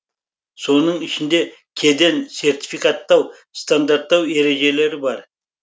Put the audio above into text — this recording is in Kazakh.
соның ішінде кеден сертификаттау стандарттау ережелері бар